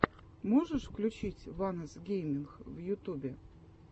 можешь включить ванос гейминг в ютубе